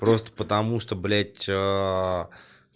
просто потому что блять